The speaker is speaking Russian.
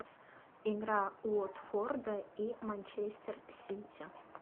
игра уотфорда и манчестер сити